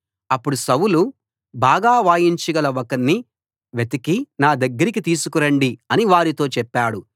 అప్పుడు సౌలు బాగా వాయించగల ఒకణ్ణి వెతికి నా దగ్గరికి తీసికురండి అని వారితో చెప్పాడు